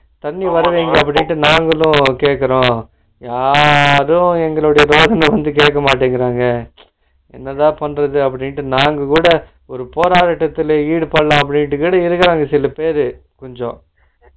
நாங்க வந்து கேட்க்குரோ, யாரும் எங்கலோட தேவையா கேக்கமாட்டிராங்க என்னதா பண்றது அப்பிடின்ட்டு நாங்ககூட ஒரு போராட்டத்துல ஈடுபடலாம் அப்படிங்குடி இருக்குறாங்க சிலபேரு கொஞ்சோ